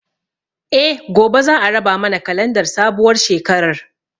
Eh, gobe za a raba mana kalandar sabuwar shekarar